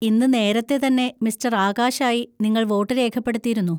ഇന്ന് നേരത്തെ തന്നെ മിസ്റ്റർ ആകാശ് ആയി നിങ്ങൾ വോട്ട് രേഖപ്പെടുത്തിയിരുന്നു.